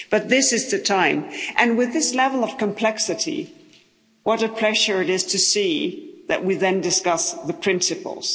But this is the time and with this level of complexity, what a pleasure it is to see that we then discuss the principles.